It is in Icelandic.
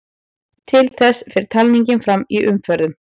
Til þess fer talningin fram í umferðum.